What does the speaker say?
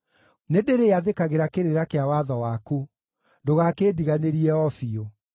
Nĩndĩrĩathĩkagĩra kĩrĩra kĩa watho waku; ndũgakĩndiganĩrie o biũ.